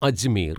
Ajmer